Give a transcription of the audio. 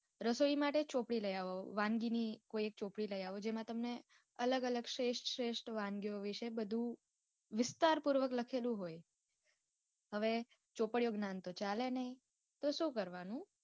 રસોઈ માટે એક ચોપડી લિયાવો વાનગી ની કોઈ એક ચોપડી લિયાવો જેમાં તમને અલગ અલગ શ્રેષ્ટ શ્રેષ્ટ વાનગીઓ વિશે બધું વિસ્તાર પૂર્વક લખેલું હોય. હવે ચોપડિયું જ્ઞાન તો ચાલે નય તો શું કરવાનું